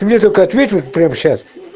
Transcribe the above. ты мне только ответь вот прямо сейчас